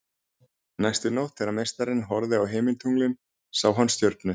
Næstu nótt þegar meistarinn horfði á himintunglin sá hann stjörnu